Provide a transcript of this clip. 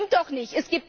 Das stimmt doch nicht!